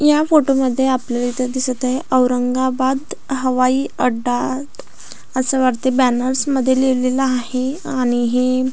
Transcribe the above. या फोटो मध्ये आपल्याला इथे दिसत आहे औरंगाबाद हवाईअड्डा अस वाटतंय बॅनर्स मध्ये लिहिलं आहे आणि ही--